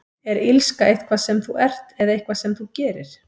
Er illska eitthvað sem þú ert, eða eitthvað sem þú gerir?